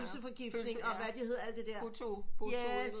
Og pølseforgiftning og hvad de hedder alt det der